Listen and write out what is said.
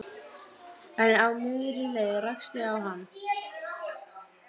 Við brostum á móti, báðum hann að hafa ekki áhyggjur.